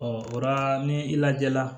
o la ni i lajɛ la